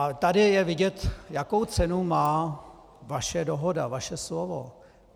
Ale tady je vidět, jakou cenu má vaše dohoda, vaše slovo.